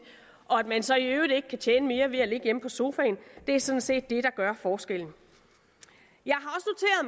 og at man så i øvrigt ikke kan tjene mere ved at ligge hjemme på sofaen er sådan set det der gør forskellen jeg